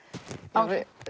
áhrif